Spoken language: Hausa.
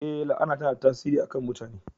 Ee, la'ana tana da tasiri a kan mutane